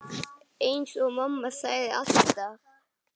Eins og mamma sagði alltaf.